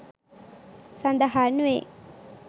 සදහන් වේ.